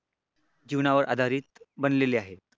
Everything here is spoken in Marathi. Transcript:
जीवनावर आधारित बनलेले आहेत.